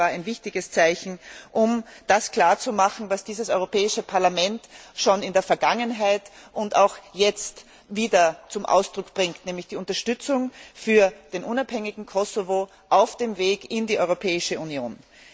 Ich denke, das war ein wichtiges Zeichen, um das klarzumachen, was dieses Europäische Parlament schon in der Vergangenheit und auch jetzt wieder zum Ausdruck bringt, nämlich die Unterstützung für das unabhängige Kosovo auf dem Weg in die Europäische Union.